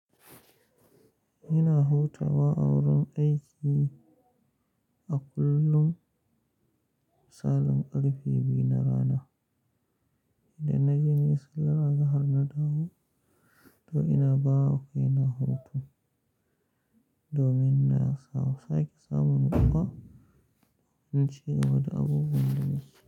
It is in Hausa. Ina hutawa a wurin aiki a kullum misalin karfe biyu na rana Idan naje nayi sallan azahar na dawo, to ina bawa kai na hutu domin na sake samun dama inci gaba da abubuwan da masu.